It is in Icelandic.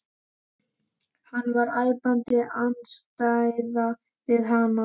Hann var æpandi andstæða við hana.